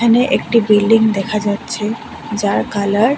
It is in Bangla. এখানে একটি বিল্ডিং দেখা যাচ্ছে যার কালার --